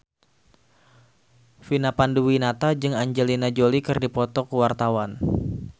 Vina Panduwinata jeung Angelina Jolie keur dipoto ku wartawan